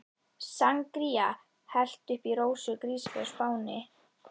Sangría hellt upp í Rósu í grísaveislu á Spáni.